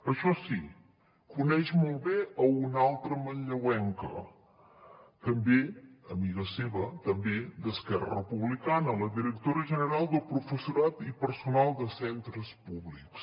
això sí coneix molt bé una altra manlleuenca també amiga seva també d’esquerra republicana la directora general de professorat i personal de centres públics